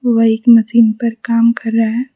वह एक मशीन पर काम कर रहा--